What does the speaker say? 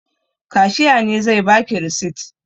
Kashiya ne zai ba ki risit.